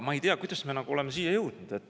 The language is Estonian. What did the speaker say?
Ma ei tea, kuidas me oleme selleni jõudnud.